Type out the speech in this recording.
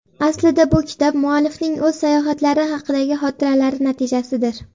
Aslida bu kitob muallifning o‘z sayohatlari haqidagi xotiralari natijasidir.